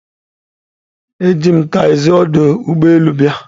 Eji m taxzi ọdụ ụgbọ elu bịa.